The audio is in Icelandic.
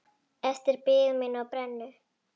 Eftir bið mína á brennu.